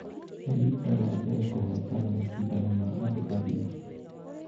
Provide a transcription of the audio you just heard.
Nĩ rita rĩa mbere kũhotana mashidano ma andũ agima